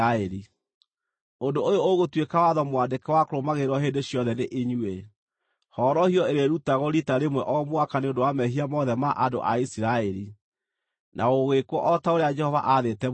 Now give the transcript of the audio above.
“Ũndũ ũyũ ũgũtuĩka watho mwandĩke wa kũrũmagĩrĩrwo hĩndĩ ciothe nĩ inyuĩ; horohio ĩrĩrutagwo riita rĩmwe o mwaka nĩ ũndũ wa mehia mothe ma andũ a Isiraeli.” Na gũgĩĩkwo o ta ũrĩa Jehova aathĩte Musa gwĩkagwo.